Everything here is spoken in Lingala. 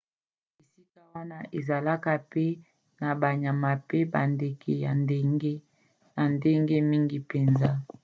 esika wana ezalaka pe na banyama mpe bandeke ya ndenge na ndenge mingi mpenza